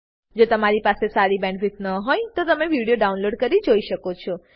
જો તમારી પાસે સારી બેન્ડવિડ્થ ન હોય તો તમે વિડીયો ડાઉનલોડ કરીને જોઈ શકો છો